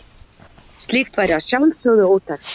Slíkt væri að sjálfsögðu ótækt.